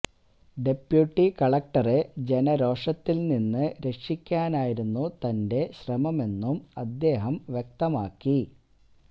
deputy കലക്ടറെ ജനരോഷത്തില് നിന്ന് രക്ഷിക്കാനായിരുന്നു തന്റെ ശ്രമമെന്നും അദ്ദേഹം വ്യക്തമാക്കി